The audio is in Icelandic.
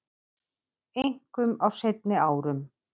Einkum á seinni árum